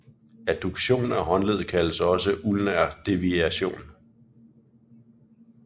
Adduktion af håndleddet kaldes også ulnar deviation